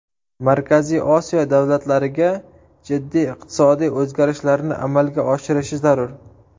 Markaziy Osiyo davlatlariga jiddiy iqtisodiy o‘zgarishlarni amalga oshirishi zarur.